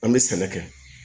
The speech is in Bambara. An bɛ sɛnɛ kɛ